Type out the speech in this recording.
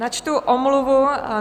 Načtu omluvu.